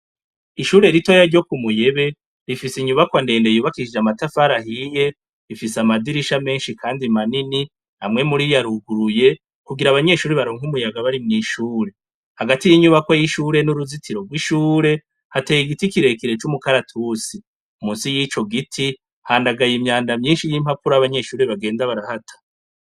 Ishure ritoya ryo ku muyebe, rifise inyubakwa ndende yubakishije amatafarahiye rifise amadirisha menshi, kandi manini hamwe muri yo aruguruye kugira abanyeshuri baronk'umuyaga bari mw'ishure, hagati y'inyubako y'ishure n'uruzitiro rw'ishure hateye igiti kirekire c'umukaratusi, musi y'ico giti handagaye imyanda myinshi y'impapuro abanyeshuri bagenda barahata.